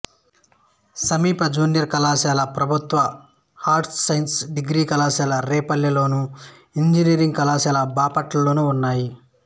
సమీప జూనియర్ కళాశాల ప్రభుత్వ ఆర్ట్స్సైన్స్ డిగ్రీ కళాశాల రేపల్లెలోను ఇంజనీరింగ్ కళాశాల బాపట్లలోనూ ఉన్నాయి